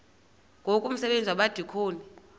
ngoku umsebenzi wabadikoni